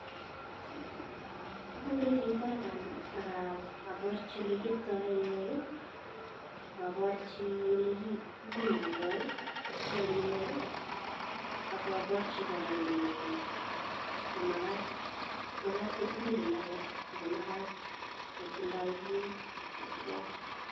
Agure chito aga, aga aborchi oli kieptoi lainwek, ak aborchi oli kibimondoi lainwek ak aborchi kora kole mamagat, magat kotilil imbaret ago magat kotindoi beek ak koakwai.